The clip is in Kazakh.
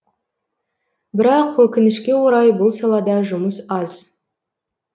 бірақ өкінішке орай бұл салада жұмыс аз